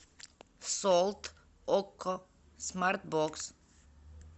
солт окко смарт бокс